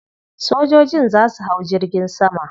Sojojin za su hau jirgin sama.